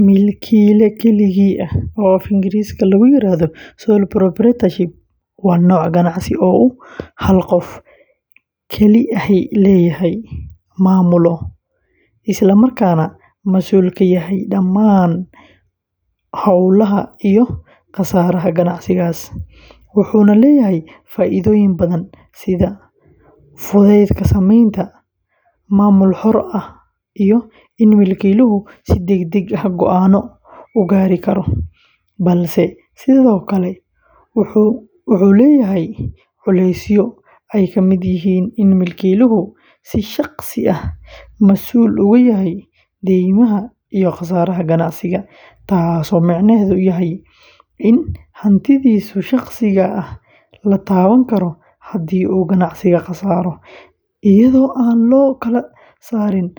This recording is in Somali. Milkiile keligii ah, oo af-Ingiriisiga lagu yiraahdo sole proprietorship, waa nooc ganacsi oo uu hal qof kali ahi leeyahay, maamulo, isla markaana mas’uul ka yahay dhammaan hawlaha iyo khasaaraha ganacsigaas, wuxuuna leeyahay faa’iidooyin badan sida fudaydka samaynta, maamul xor ah, iyo in milkiiluhu si degdeg ah go’aanno u gaari karo, balse sidoo kale wuxuu leeyahay culeysyo ay ka mid yihiin in milkiiluhu si shakhsi ah mas’uul uga yahay deymaha iyo khasaaraha ganacsiga, taasoo micnaheedu yahay in hantidiisa shakhsiga ah la taaban karo haddii uu ganacsigu khasaaro, iyadoo aan loo kala saarin